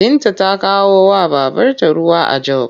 Binta ta kawowa babrta ruwa a jog.